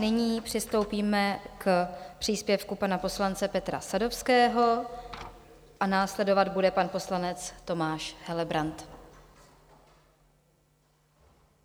Nyní přistoupíme k příspěvku pana poslance Petra Sadovského a následovat bude pan poslanec Tomáš Helebrant.